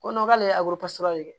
Ko n k'ale ye de ye